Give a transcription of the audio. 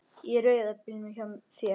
Í rauða bílnum hjá þér.